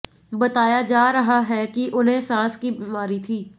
बताया जा रहा है कि उन्हें सांस की बीमारी थी